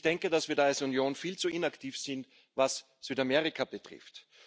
Ich denke, dass wir als Union viel zu inaktiv sind, was Südamerika betrifft.